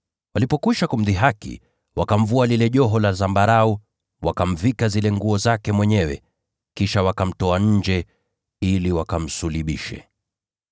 Walipokwisha kumdhihaki, wakamvua lile joho la zambarau, wakamvika tena nguo zake. Kisha wakamtoa nje ili wakamsulubishe.